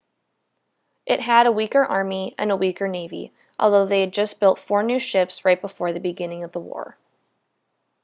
it had a weaker army and a weaker navy although they had just built four new ships right before the beginning of the war